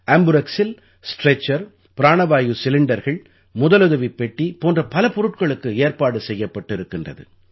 ஆம்புரெக்ஸில் stretcher பிராணவாயு சிலிண்டர்கள் முதலுதவிப் பெட்டி போன்ற பல பொருட்களுக்கு ஏற்பாடு செய்யப்பட்டிருக்கிறது